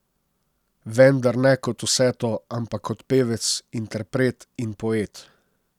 Vendar ne kot vse to, ampak kot pevec, interpret in poet.